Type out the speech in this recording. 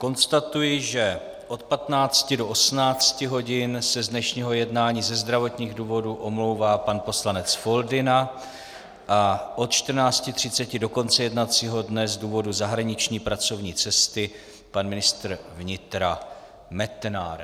Konstatuji, že od 15 do 18 hodin se z dnešního jednání ze zdravotních důvodů omlouvá pan poslanec Foldyna a od 14.30 do konce jednacího dne z důvodu zahraniční pracovní cesty pan ministr vnitra Metnar.